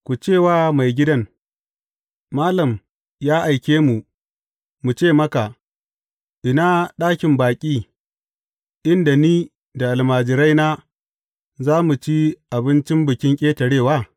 Ku ce wa maigidan, Malam ya aike mu mu ce maka, Ina ɗakin baƙi, inda ni da almajiraina za mu ci abincin Bikin Ƙetarewa?’